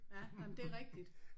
Ja nej men det er rigtigt